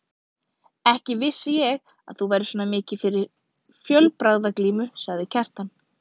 Ekki vissi ég að þú værir svona mikið fyrir fjölbragðaglímu, sagði Kjartan.